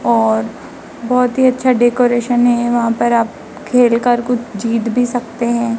और बहुत ही अच्छा डेकोरेशन है वहां पर आप खेल कर कुछ जीत भी सकते हैं।